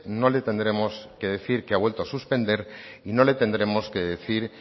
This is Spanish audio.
no le tendremos que decir que ha vuelto a suspender y no le tendremos que decir